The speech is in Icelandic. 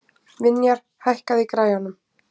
Vinjar, hækkaðu í græjunum.